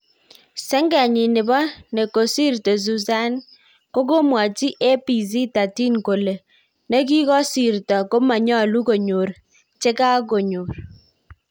Shengenyin nepo nekosirto suzzane kokamwaji ABC 13 kole, nekikosirto komanyol konyor chakonyor.